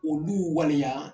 Olu waleya